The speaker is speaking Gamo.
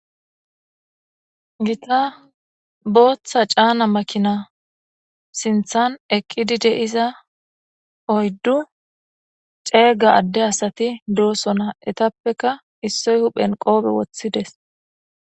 Gita Botha cana makina sinthan eqid de'za oyddu cega adde asat dosona. Etappeka issoy huphen qope wothides.